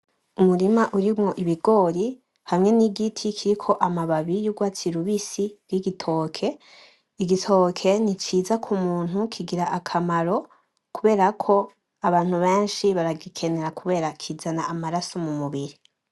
Umurima urimwo ibigori; hamwe n'igiti kiriko amababi y'ugwatsi rubisi y'igitoke. Igitoke ni ciza k'umuntu kigira akamaro, kubera ko abantu benshi baragikenera kubera ko kizana amaraso mu mubiri.